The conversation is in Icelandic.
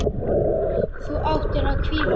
Þú ættir að hvíla þig.